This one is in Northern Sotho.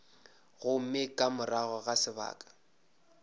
gomme ka morago ga sebaka